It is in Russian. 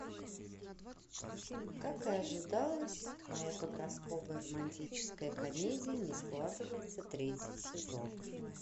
как и ожидалось моя подростковая романтическая комедия не складывается третий сезон